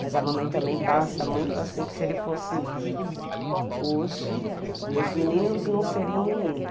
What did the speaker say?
Mas a mamãe também passa muito assim, que se ele fosse vivo hoje, os meninos não seriam meninos.